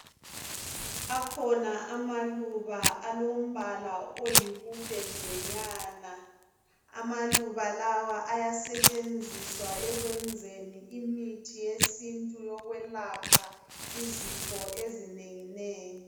Akhona amaluba alombala oyibubendenyana amaluba lawa ayasetshenziswa ekwenzeni imithi yesintu yokwelapha Izifo ezinenginengi.